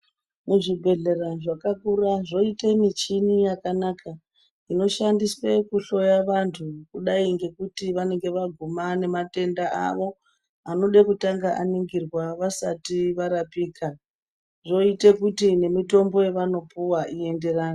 Muzvibhedhlera zvakakura zvoita michina yakanaka inoshandiswa kuhloya vantu kudai ngekuti vanenge vaguma nematenda awo anode kutanga varingirwa wasari warapika zvoita kuti nemutombo yawanopuwa zvienderane.